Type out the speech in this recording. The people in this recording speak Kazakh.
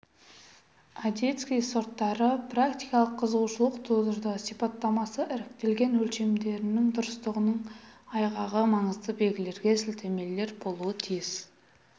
одесский сорттары практикалық қызығушылық тудырды сипаттамасы іріктелген өлшемдерінің дұрыстығының айғағы маңызды белгілерге сілтемелер болуы тиіс